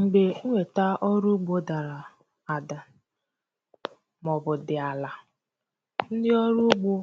m̀gbè ǹwèta ọrụ ugbō dàrà àdà màọbụ̀ dị̀ àlà ndi ọrụ ugbō